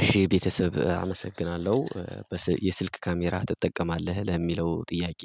እሺ ቤተሰብ አመሰግናለሁ በስ የስልክ ካሜራ ትጠቀማለህ ለሚለው ጥያቄ